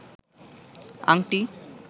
আংটি